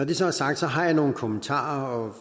det så er sagt har jeg nogle kommentarer